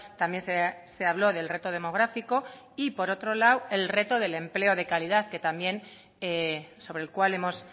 también se habló del reto demográfico y por otro lado el reto del empleo de calidad que también sobre el cual hemos